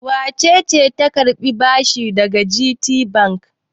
Wace ce ta karbi bashi daga GTBank?